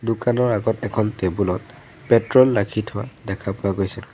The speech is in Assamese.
দোকানৰ আগত এখন টেবুল ত পেট্ৰল ৰাখি থোৱা দেখা পোৱা গৈছে।